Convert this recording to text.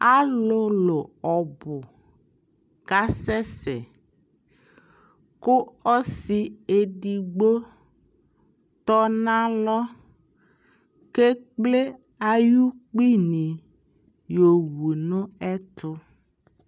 Alʋlʋ ɔbʋ kasɛsɛ kʋ ɔsi edigbo tɔ nalɔ kʋ ekple ayu kpi ni yɔwu n'ɛtʋ